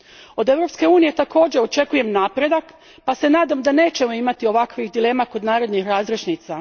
Od Europske unije također očekujem napredak pa se nadam da nećemo imati ovakvih dilema kod narednih razrješnica.